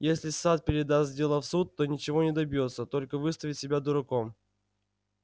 если сатт передаст дело в суд то ничего не добьётся только выставит себя дураком